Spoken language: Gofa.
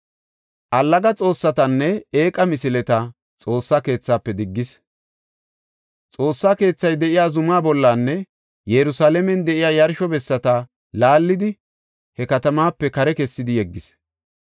Allaga xoossatanne eeqa misileta Xoossa keethaafe diggis; Xoossa keethay de7iya zuma bollanne Yerusalaamen de7iya yarsho bessata laallidi he katamaape kare kessidi yeggis.